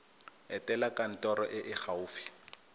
etela kantoro e e gaufi